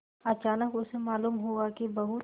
अचानक उसे मालूम हुआ कि बहुत